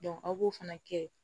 aw b'o fana kɛ